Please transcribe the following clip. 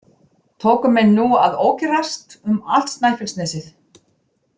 Tóku menn nú að ókyrrast um allt Snæfellsnesið.